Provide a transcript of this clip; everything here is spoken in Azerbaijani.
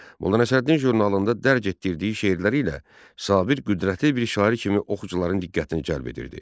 Molla Nəsrəddin jurnalında dərc etdirdiyi şeirləri ilə Sabir qüdrətli bir şair kimi oxucuların diqqətini cəlb edirdi.